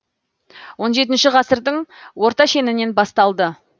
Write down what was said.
он жеті ғасырдың орта шенінен басталды